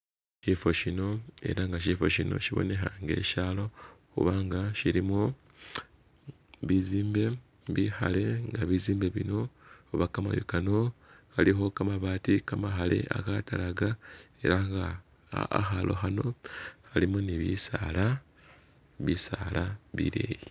Sifo sino elah sifo sino sibonekha nga sishalo kubanga shilimo bisimbe bikhale nga bisimbe bino oba kamayu Kano kalikho kama baati kamakhale akatalaka elah nga khakhalo khano khalimo ni'bisala, bisala bileyi